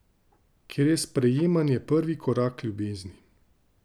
Ker je sprejemanje prvi korak Ljubezni.